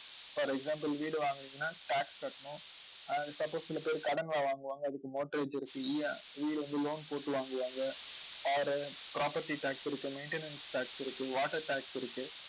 for example வீடு வாங்கினீங்கன்னா tax கட்டணும் ஆஹ் suppose சில பேர் கடன் எல்லாம் வாங்குவாங்க. அதுக்கு mortgage இருக்கு வந்து loan போட்டு வாங்குவாங்க. car, property tax இருக்கு maintenance tax இருக்கு water tax இருக்கு